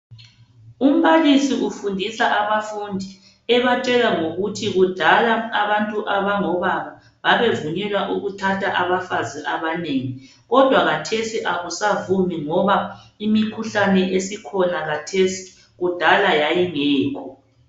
Umbalisi ufundisa abafundi ebatshela ngokuthi kudala abantu abangobaba babevunyelwa ukuthatha abafazi abanengi kodwa kathesi akusavumi ngoba imikhuhlane esikhona kathesi kudala yayingekho.